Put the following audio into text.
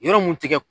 Yɔrɔ mun tɛ kɛ